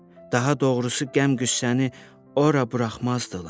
Daha doğrusu qəm-qüssəni ora buraxmazdılar.